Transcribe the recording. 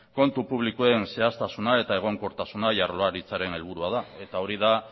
kontu publikoen zehaztasuna eta egonkortasuna jaurlaritzaren helburua da eta hori da